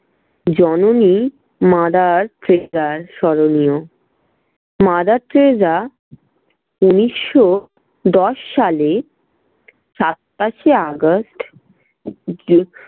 জননী mother Teresa স্বরণীয়। mother Teresa উনিশশো দশ সালে সাতাশে august